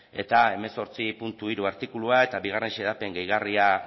eta hemezortzi puntu hiru artikulua eta bigarren xedapen gehigarria